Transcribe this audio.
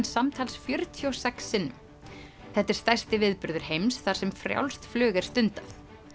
samtals fjörutíu og sex sinnum þetta er stærsti viðburður heims þar sem frjálst flug er stundað